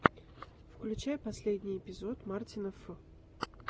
включай последний эпизод мартина ф